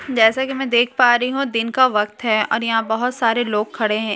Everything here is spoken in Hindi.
जैसा की मैं देख पा रही हूँ दिन का वक्त है और यहाँ सारे लोग खड़े हैं एक आदमी यहाँ --